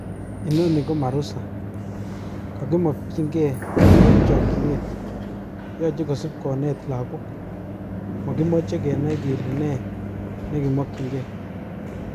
Inoni ko marusa, kokimokinge eng chokinet, yoche kosib konet lagok, mokimoche kenai kele ne nekimokinge.